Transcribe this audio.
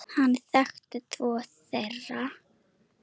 Hann þekkti tvo þeirra.